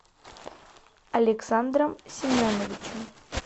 александром семеновичем